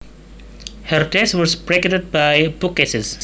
Her desk was bracketed by bookcases